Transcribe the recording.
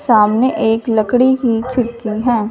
सामने एक लकड़ी की खिड़की है।